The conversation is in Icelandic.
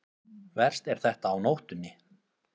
Verst er þetta á nóttunni.